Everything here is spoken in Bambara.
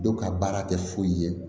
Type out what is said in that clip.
Dɔw ka baara tɛ foyi ye